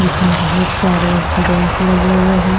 जिसमें बहुत सारे बेंच लगे हुए हैं।